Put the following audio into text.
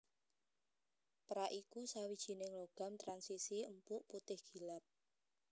Pérak iku sawijining logam transisi empuk putih gilap